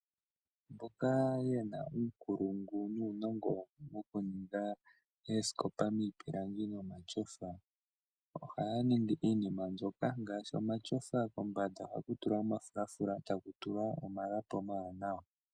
Onga yena uunkulungu nuunongo wokuninga oosikopa miipilangi nomatyofa ohaya ningi iinima ndyoka ngaashi omatyofa kombanda ohaku tulwa omafulafula etaku tulwa omalapi omawanawa.